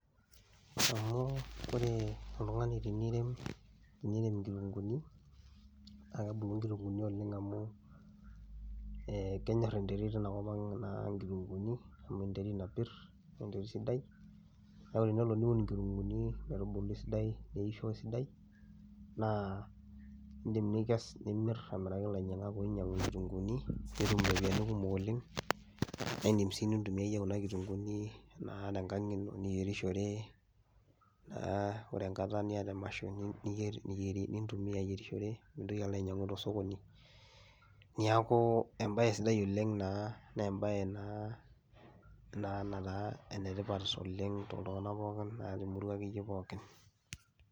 Amu ore oltung'ani tenirem eniremi nkitung'uuni naake ebulu nkitung'uuni oleng' amu ee kenyor enterit ina kop ang' naa nkitung'uuni amu enterit napir nee enterit sidai. Neeku tenelo niun nkitung'uuni metubulu esidai, neisho esidai naa iindim nikes nimir amiraki lainyang'ak oinyang'u nkitung'uuni, nitum ropiani kumok oleng' naa iindim sii nintumia iye kuna kitung'uuni naa tenkang' ino niyerishore, aa ore enkata niyata emasho niyer niyieri nintumia ayierishore mintoki alo ainyang'u to sokoni. Neeku embaye sidai oleng' naa nee embaye naa nataa ene tipat oleng' toltung'anak pookin naa te murua akeyie pookin.